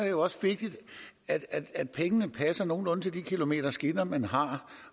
jo også vigtigt at pengene passer nogenlunde til det antal kilometer skinner man har